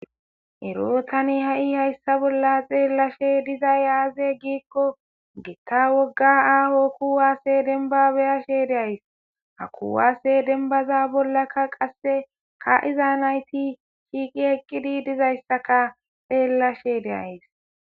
Ero tani ha7i hayssa bolla xeellashe dizay aaze giikko gitta wogga aaho kuwaasse denba be'ashe de'ays ha kuwaase denbaza bollaka qasse ka7iza nayti shiiqi eqqidi dizayssaka xeellashe deays.